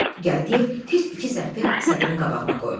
Gəldiyev tez iki zərfi sədrin qabağına qoydu.